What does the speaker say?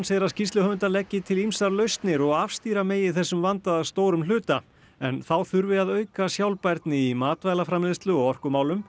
segir að skýrsluhöfundar leggi til ýmsar lausnir og afstýra megi þessum vanda að stórum hluta en þá þurfi að auka sjálfbærni í matvælaframleiðslu og orkumálum